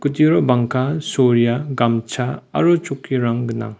kuturio bangka soria gamcha aro chokkirang gang.